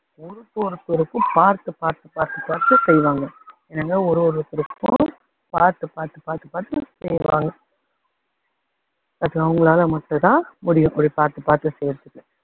ஒரு ஒருத்தருக்கும் பாத்து பாத்து பாத்து பாத்து செய்வாங்க. என்னங்க ஒரு ஒருத்தருக்கும் பாத்து பாத்து பாத்து பாத்து செய்வாங்க அது அவங்களால மட்டும் தான் முடியும், இப்படி பாத்து பாத்து பாத்து செய்யுறதுக்கு.